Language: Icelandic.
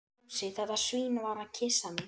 Fúsi, þetta svín, var að kyssa mig.